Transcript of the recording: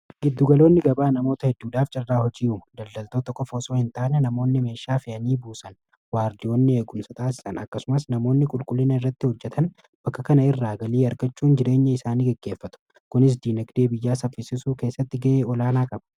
Gidduugaloonni gabaa namoota hedduudhaaf carraa hojii uumu daldaltoota fi hin taane namoonni meeshaa fi'anii buusan waardiyoonni eegunsa taasisan akkasumas namoonni qulqullina irratti hojjetan bakka kana irraa galii argachuun jireenya isaanii geggeeffatu kunis diinagdee biyyaa saffisisuu keessatti ga'ee olaanaa qaba.